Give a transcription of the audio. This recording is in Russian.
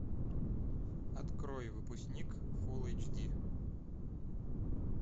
открой выпускник фулл эйч ди